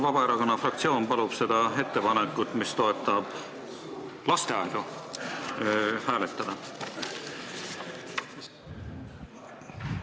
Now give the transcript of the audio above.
Vabaerakonna fraktsioon palub seda ettepanekut, mis toetab lasteaedu, hääletada!